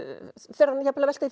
fer hann jafnvel að velta